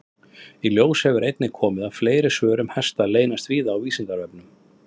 Í ljós hefur einnig komið að fleiri svör um hesta leynast víða á Vísindavefnum.